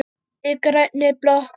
Í grænni blokk